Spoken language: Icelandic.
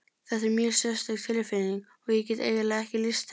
Þetta er mjög sérstök tilfinning og ég get eiginlega ekki lýst henni.